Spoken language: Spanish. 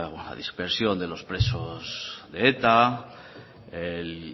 la dispersión de los presos de eta el